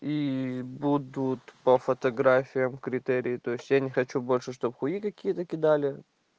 и будут по фотографиям критерии то есть я не хочу больше чтобы хуи какие-то кидали